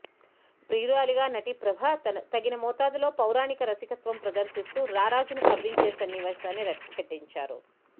ప్రియురాలిగా నటి ప్రభ తగిన మోతాదులో పౌరాణిక రసికత్వం ప్రదర్శిస్తూ రారాజును కవ్వించే సన్నివేశాన్ని రక్తికట్టించారు